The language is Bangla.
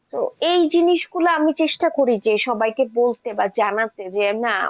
তো এই জিনিসগুলো আমি চেষ্টা করি যে সবাইকে বলতে বা জানাতে যে না